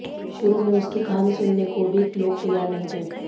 शुरू में उसकी कहानी सुनने को भी लोग तैयार नहीं थे